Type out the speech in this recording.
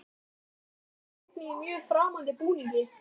Þar á meðal er einn í mjög framandi búningi.